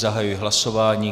Zahajuji hlasování.